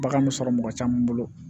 Bagan m sɔrɔ mɔgɔ caman bolo